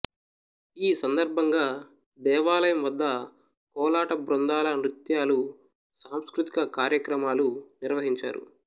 ఈ సందర్భంగా దేవాలయం వద్ద కోలాట బృందాల నృత్యాలు సాంస్కృతిక కార్యక్రమాలు నిర్వహించారు